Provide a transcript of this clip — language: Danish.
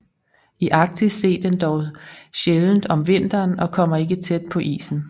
I Arktis ses den dog sjældent om vinteren og kommer ikke tæt på isen